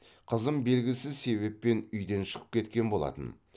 қызым белгісіз себеппен үйден шығып кеткен болатын